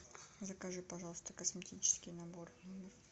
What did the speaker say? закажи пожалуйста косметический набор